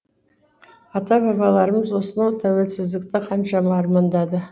ата бабаларымыз осынау тәуелсіздікті қаншама армандады